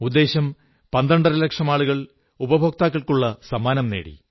ഉദ്ദേശം പന്ത്രണ്ടരലക്ഷം ആളുകൾ ഉപഭോക്താക്കൾക്കുള്ള സമ്മാനങ്ങൾ നേടി